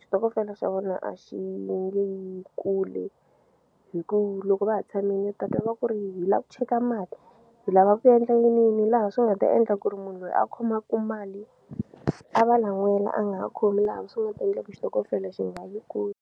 xitokofela xa vona a xi nge yi kule hi ku loko va ha tshamile u ta twa va ku ri hi lava ku cheka mali hi lava ku endla yiniyini laha swi nga ta endla ku ri munhu loyi a khomaku mali a va lan'wela a nga ha khomi laha swi nga endle ku xitokofela xi nga vi kona.